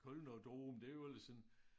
Kölner Dom det jo ellers en